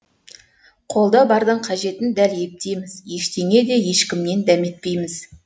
қолда бардың қажетін дәл ептейміз ештеңе де ешкімнен дәметпейміз